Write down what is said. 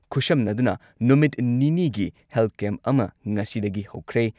ꯈꯨꯠꯁꯝꯅꯗꯨꯅ ꯅꯨꯃꯤꯠ ꯅꯤꯅꯤꯒꯤ health camp ꯑꯃ ꯉꯁꯤꯗꯒꯤ ꯍꯧꯈ꯭ꯔꯦ꯫